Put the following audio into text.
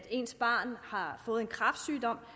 ens barn har fået en kræftsygdom